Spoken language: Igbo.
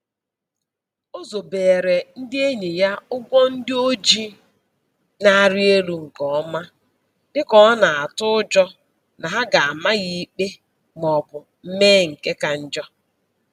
O zobeere ndị enyi ya ụgwọ ndị o ji na-arị elu nke ọma, dịka ọ na-atụ ụjọ na ha ga-ama ya ikpe maọbụ mee nke ka njọ.